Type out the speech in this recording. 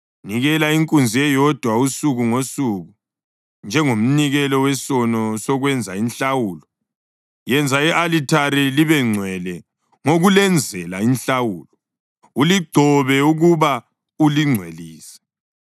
Nikela inkunzi eyodwa usuku ngosuku njengomnikelo wesono wokwenza inhlawulo. Yenza i-alithari libengcwele ngokulenzela inhlawulo, uligcobe ukuba ulingcwelise.